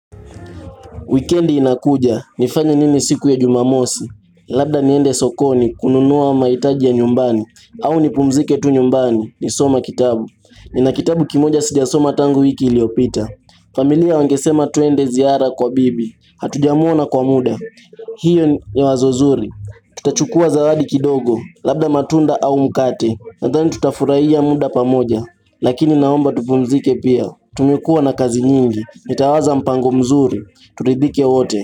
Wikendi inakuja, nifanye nini siku ya jumamosi, labda niende sokoni, kununuwa maitaji ya nyumbani, au nipumzike tu nyumbani, nisoma kitabu, nina kitabu kimoja sijasoma tangu wiki iliopita. Familia wangesema tuende ziara kwa bibi, hatujamwona kwa muda, hiyo ni wazo zuri, tutachukua zawadi kidogo, labda matunda au mkate, nadhani tutafurahia muda pamoja, Lakini naomba tupumzike pia, tumekua na kazi nyingi, nitawaza mpango mzuri, turidhike wote.